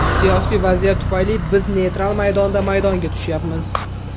Siyosiy vaziyat tufayli biz neytral maydonda maydonga tushyapmiz.